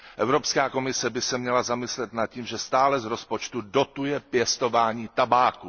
Evropská komise by se měla zamyslet nad tím, že stále z rozpočtu dotuje pěstování tabáku.